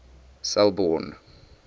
selborne